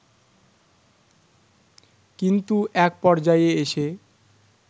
কিন্তু এক পর্যায়ে এসে